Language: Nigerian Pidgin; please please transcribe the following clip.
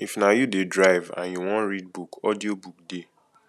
if na you de drive and you wan read book audio book de